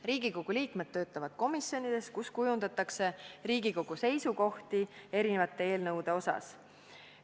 Riigikogu liikmed töötavad komisjonides, kus kujundatakse Riigikogu seisukohti erinevate eelnõude osas.